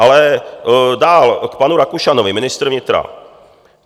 Ale dál k panu Rakušanovi, ministr vnitra.